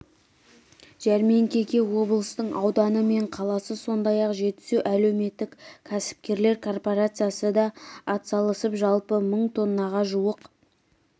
жәрмеңкеге облыстың ауданы мен қаласы сондай-ақ жетісу әлеуметтік кәсіпкерлер корпорациясы да атсалысып жалпы мың тоннаға жуық